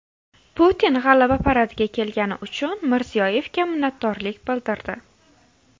Putin G‘alaba paradiga kelgani uchun Mirziyoyevga minnatdorlik bildirdi .